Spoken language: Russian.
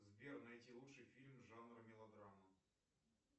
сбер найти лучший фильм жанра мелодрама